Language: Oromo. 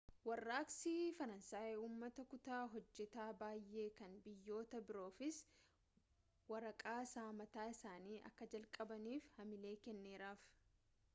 warraaqsi faraansay uummata kutaa hojjetaa baay'ee kan biyyoota biroofis warraaqsa mataa isaanii akka jalqabaniif hamilee kenneeraaf